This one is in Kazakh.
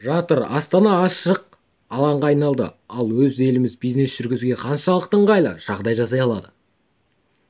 жатыр астана ашық алаңға айналды ал өз еліміз бизнес жүргізуге қаншалықты ыңғайлы жағдай жасай алды